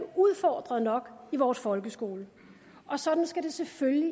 udfordret nok i vores folkeskole og sådan skal det selvfølgelig